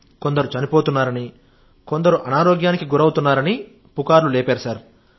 కొందరు చనిపోతున్నారని కొందరు అనారోగ్యానికి గురవుతున్నారని పుకార్లు లేపారు సార్